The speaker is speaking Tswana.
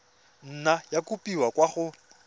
nna ya kopiwa kwa go